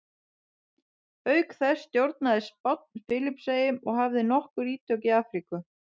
Auk þessa stjórnaði Spánn Filippseyjum og hafði nokkur ítök í Afríku.